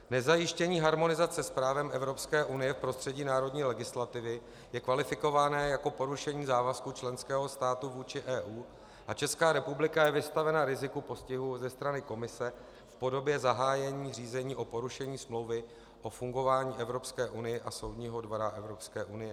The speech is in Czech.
Nezajištění harmonizace s právem Evropské unie v prostředí národní legislativy je kvalifikováno jako porušení závazku členského státu vůči EU a Česká republika je vystavena riziku postihu ze strany Komise v podobě zahájení řízení o porušení Smlouvy o fungování Evropské unie a Soudního dvora Evropské unie.